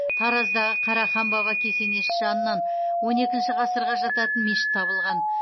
тараздағы қарахан баба кесенесі жанынан он екінші ғасырға жататын мешіт табылған